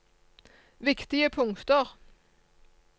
viktige punkter